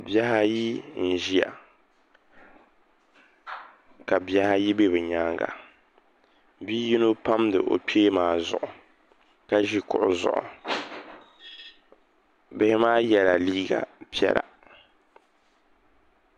Bihi ayi n ʒiya ka bihi ayi bɛ bi nyaanga bia yino pamdi o kpee maa zuɣu ka ʒi kuɣu zuɣu bi zaa yɛla liiga piɛla